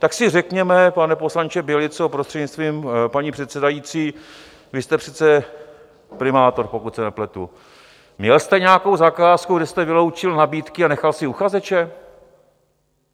Tak si řekněme, pane poslanče Bělico, prostřednictvím paní předsedající, vy jste přece primátor, pokud se nepletu, měl jste nějakou zakázku, kde jste vyloučil nabídky a nechal si uchazeče?